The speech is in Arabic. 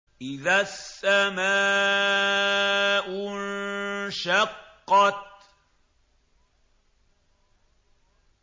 إِذَا السَّمَاءُ انشَقَّتْ